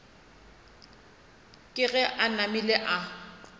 ke ge a namile a